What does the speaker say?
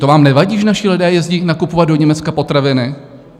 To vám nevadí, že naši lidé jezdí nakupovat do Německa potraviny?